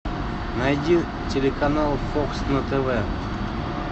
найди телеканал фокс на тв